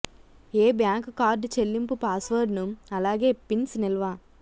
ఏ bank card చెల్లింపు పాస్వర్డ్ను అలాగే పిన్స్ నిల్వ